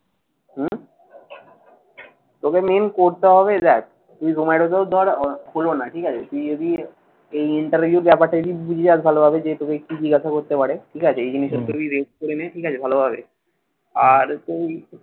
তোকে main করতে হবে দেখ, তুই ধর হলো না। ঠিক আছে, তুই যদি এই interview ব্যাপারটা যদি বুঝে যাস তাহলে হবে কি যে তোকে একটু জিজ্ঞাসা করতে পারে। ঠিক আছে। এই জিনিসের তোর করে না। ঠিক আছে ভালোভাবে। আর, তুই